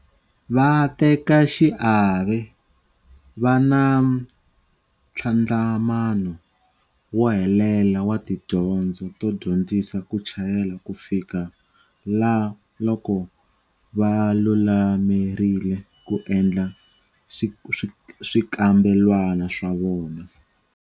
Vatekaxiave va na ntlhandlamano wo helela wa tidyondzo to dyondzisa ku chayela kufikela loko va lulamerile ku endla swikambelwana swa vona.